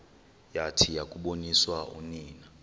yathi yakuboniswa unina